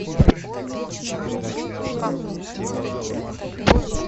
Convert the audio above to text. включи передачу наша тема на тв